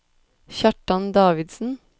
Kjartan Davidsen